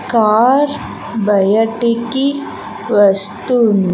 car బయటికి వస్తుం--